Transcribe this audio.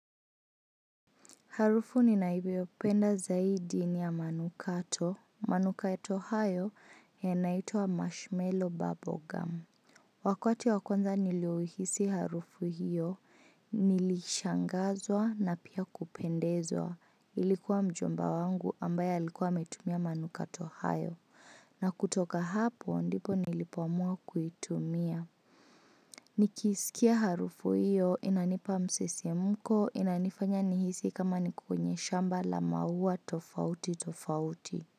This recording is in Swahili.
Harufu ni nanayo ipenda zaidi ni ya manukato. Manukato hayo yanaituwa Marshmellow Bubblegum. Wakati wakwanza niliohisi harufu hiyo, nilishangazwa na pia kupendezwa. Ilikuwa mjomba wangu ambaye alikuwa ametumia manukato hayo. Na kutoka hapo ndipo nilipoamua kuitumia. Nikisikia harufu hiyo inanipa msisimuko inanifanya nihisi kama nikokwenye shamba la mauwa tofauti tofauti.